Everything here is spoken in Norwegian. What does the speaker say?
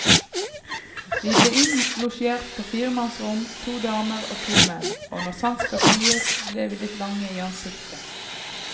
Vi ble innlosjert på firemannsrom, to damer og to menn, og når sant skal sies, ble vi litt lange i ansiktet.